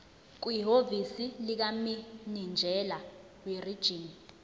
kwihhovisi likamininjela werijini